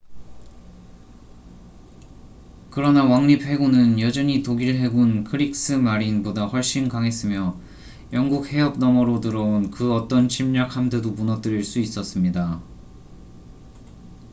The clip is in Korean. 그러나 왕립 해군은 여전히 ​​독일 해군 크릭스 마린”보다 훨씬 강했으며 영국 해협 너머로 들어온 그 어떤 침략 함대도 무너뜨릴 수 있었습니다